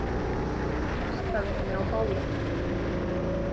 Ég kastaði henni á bálið.